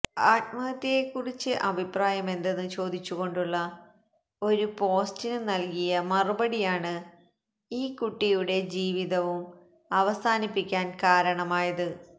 ആത്മഹത്യയെ കുറിച്ച് അഭിപ്രായമെന്തെന്ന് ചോദിച്ചു കൊണ്ടുള്ള ഒരു പോസ്റ്റിന് നല്കിയ മറുപടിയാണ് ഈ കുട്ടിയുടെ ജീവിതവും അവസാനിപ്പിക്കാന് കാരണമായത്